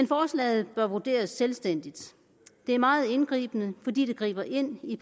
forslaget bør vurderes selvstændigt det er meget indgribende fordi det griber ind i